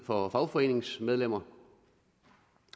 for fagforeningsmedlemmer